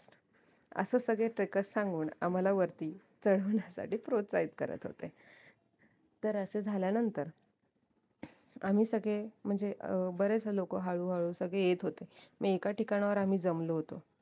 असं सगळे trackers सांगून आम्हाला वरती चडवण्यासाठी प्रोत्साहित करत होते तर असं झाल्यानंतर आम्ही सगळे म्हणजे अं बरेच लोक हळू हळू सगळे येत होते म एका ठिकाणांवर आम्ही जमलो होतो